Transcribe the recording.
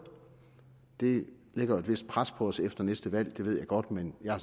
det lægger jo et vist pres på os efter næste valg det ved jeg godt men jeg har